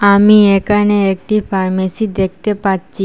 আমি একানে একটি ফার্মেসি দেকতে পাচ্চি।